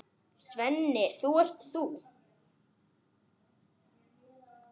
Svenni, ert það þú!?